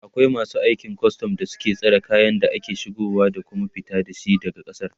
akwai masu aikin custom da suke tsare kayan da ake shigowa da Kuma fita da shi daga kasar